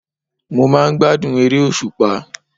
Mo máa n gbádùn eré òsùpá